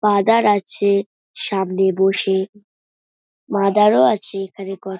father আছে সামনে বসে মাদারও আছে এখানে--